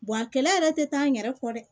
a kɛlɛ yɛrɛ tɛ taa n yɛrɛ kɔ dɛ